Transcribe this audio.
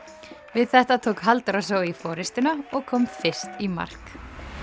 við þetta tók Halldóra Zoe forystuna og kom fyrst í mark